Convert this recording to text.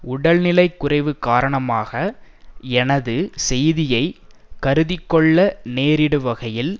உடல் நிலை குறைவு காரணமாக எனது செய்தியை கருதிக்கொள்ள நேரிடுவகையில்